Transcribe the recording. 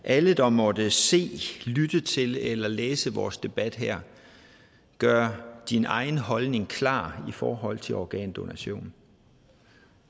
alle der måtte se lytte til eller læse vores debat her gør din egen holdning klar i forhold til organdonation